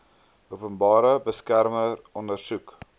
openbare beskermer ondersoek